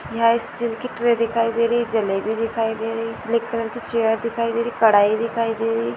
यहाँ स्टील की ट्रे दिखाई दे रही जलेबी दिखाई दे रही ब्लैक कलर की चैर दिखाई दे रही कड़ाई दिखाई दे रही।